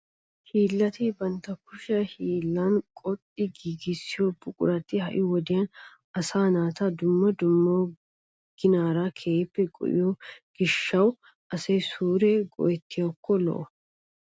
Hiillati bantta kushiya hiillan qoxxi giigissiyao buqurati ha"i wodiyan asaa naata dumma dumma ginaara keehippe go"iyo gishshatawu asay suure go'ettiyakko lo"o.